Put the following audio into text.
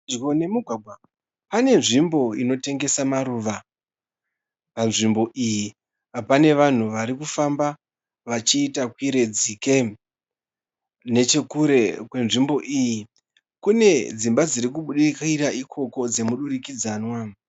Pedyo nemugwagwa pane nzvimbo inotengesa maruva. Panzvimbo iyi pane vanhu vari kufamba, vachiita kwire dzike. Nechekure kwenzvimbo iyi kune dzimba dziri kubudikira ikoko dzemudurikidzwana.